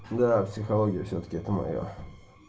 да психология всё-таки это моё